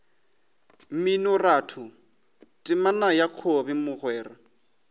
mminoratho temana ya kobi mogwera